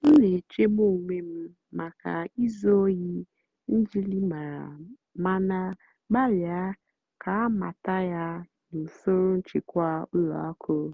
m nà-èchègbú ónwé m màkà ízú óhì njìlìmárá màná gbàlị́à kà àmàtà yá nà ùsòrò nchèkwà ùlọ àkụ́.